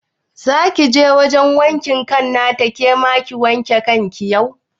Za kije wajan wankin kan nata ke ma ki wanke kanki yau?